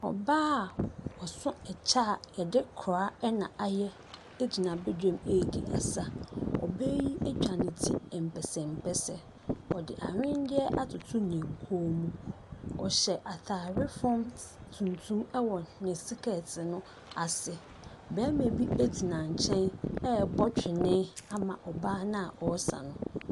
Ɔbaa a ɔso kyɛ a yɛde kora na ayɛ gyina badwam ɛredi asa. Ɔbaa yi atwa ne ti mpɛsɛmpɛsɛ, ɔde aweneɛ atoto ne kɔn mu. Ɔhyɛ ataare fam t tuntum wɔ ne sekɛɛte no ase. Barima bi gyina nkyɛn ɛrebɔ twene ama ɔbaa no a ɔresa no.